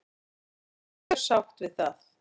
Og ég er mjög sátt við það.